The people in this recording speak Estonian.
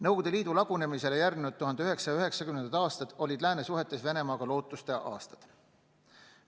Nõukogude Liidu lagunemisele järgnenud 1990. aastad olid lääne suhetes Venemaaga lootuste aastad.